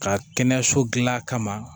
Ka kɛnɛyaso dilan kama